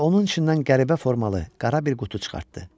Və onun içindən qəribə formalı qara bir qutu çıxartdı.